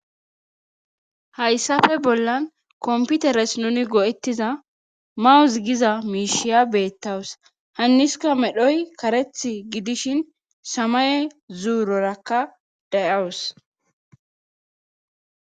hayssafe bollan komputeres nuni go7ettiza mawuz giza miishiya beettawus hanniska medhoy kareth gidishin samaye zuurorakka dayawus